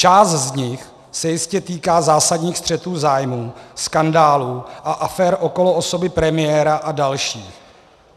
Část z nich se jistě týká zásadních střetů zájmů, skandálů a afér okolo osoby premiéra a dalších.